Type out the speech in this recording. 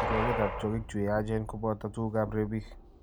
kirwogetap tyong'ik chu yaachen, kobooto tuguugap rebiik.